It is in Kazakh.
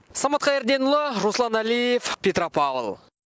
самат қайырденұлы руслан әлиев петропавл